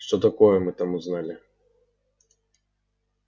что такое мы там узнали